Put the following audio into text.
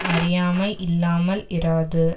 அறியாமை இல்லாமல் இராது